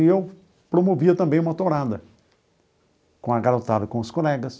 E eu promovia também uma tourada com a garotada e com os colegas.